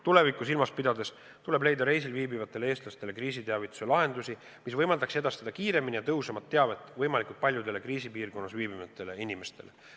Tulevikku silmas pidades tuleb leida reisil viibivatele eestlastele kriisiteavituse lahendusi, mis võimaldaks edastada kiiremini ja tõhusamalt teavet võimalikult paljudele kriisipiirkonnas viibivatele inimestele.